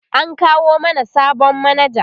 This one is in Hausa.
an kawo mana sabon manaja